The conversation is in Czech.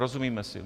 Rozumíme si.